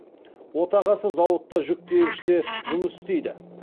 отағасы зауытта жүк тиегіште жұмыс істейді